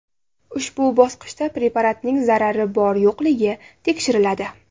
Ushbu bosqichda preparatning zarari bor-yo‘qligi tekshiriladi.